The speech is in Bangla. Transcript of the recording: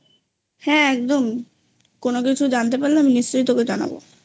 হ্যাঁ একদম কোনো কিছু জানতে পারলে আমি নিশ্চয়ই তোকে জানাবো